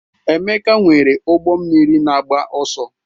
Emeka nwere ụgbọ mmiri na-agba ọsọ.